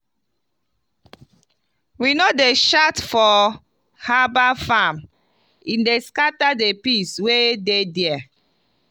we no dey shout for herbal farm e dey scatter the peace wey dey there.